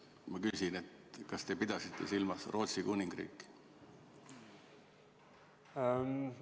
Ma küsin: kas te pidasite silmas Rootsi Kuningriiki?